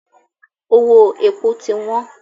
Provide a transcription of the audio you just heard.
Owó epo ti wọ́n.